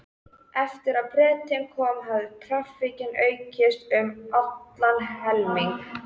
Eftir að Bretinn kom hafði traffíkin aukist um allan helming.